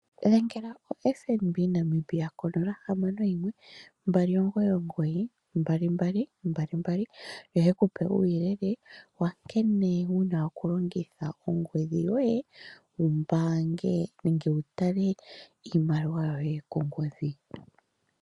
Dhengela oFNB Namibia ko 061 299 2222 yo ye ku pe uuyelele wa nkene wu na okulongitha ongodhi yoye wu mbaange nenge wu tale iimaliwa yoye kongodhi.